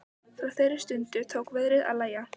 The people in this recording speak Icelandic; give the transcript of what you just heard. Frá þeirri stundu tók veðrið að lægja.